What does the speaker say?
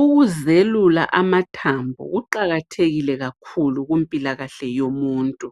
Ukuzelula amathabo kuqakathekile kakhulu kumpilakahle yomuntu.